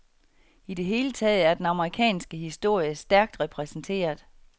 I det hele taget er den amerikanske historie stærkt repræsenteret.